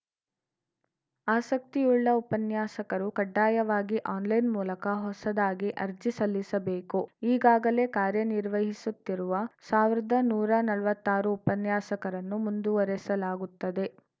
ಆಸಕ್ತಿಯುಳ್ಳ ಉಪನ್ಯಾಸಕರು ಕಡ್ಡಾಯವಾಗಿ ಆನ್‌ಲೈನ್‌ ಮೂಲಕ ಹೊಸದಾಗಿ ಅರ್ಜಿ ಸಲ್ಲಿಸಬೇಕು ಈಗಾಗಲೇ ಕಾರ್ಯ ನಿರ್ವಹಿಸುತ್ತಿರುವ ಸಾವಿರದ ನೂರಾ ನಲ್ವತ್ತಾರು ಉಪನ್ಯಾಸಕರನ್ನು ಮುಂದುವರೆಸಲಾಗುತ್ತದೆ